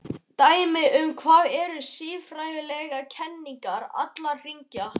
Dæmi um það eru siðfræðilegar kenningar allra þriggja.